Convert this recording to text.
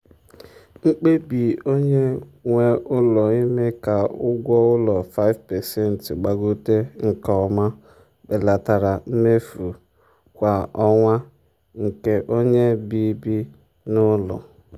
mkpebi onye nwe ụlọ ime ka ụgwọ ụlọ 5% gbagote nke ọma belatara mmefu kwa ọnwa nke onye bi bi n'ụlọ.